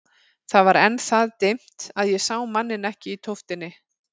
Það var enn það dimmt að ég sá manninn ekki í tóftinni.